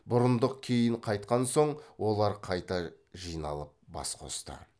бұрындық кейін қайтқан соң олар қайта жиналып бас қосты